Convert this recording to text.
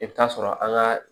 I bɛ taa sɔrɔ an ka